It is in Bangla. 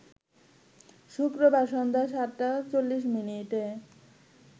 শুক্রবার সন্ধ্যা ৭ টা ৪০ মিনিটে